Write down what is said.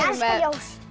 með